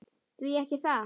Því ekki það?